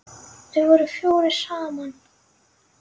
Þeir voru fjórir saman.